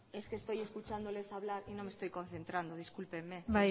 es que estoy escuchándoles hablar y no me estoy concentrando discúlpeme